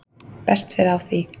best fer á því